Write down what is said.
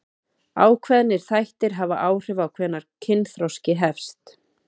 Ákveðnir þættir hafa áhrif á hvenær kynþroski hefst.